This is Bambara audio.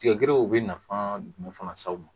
Tigɛjɛniw u bɛ nafa jumɛn fana s'aw ma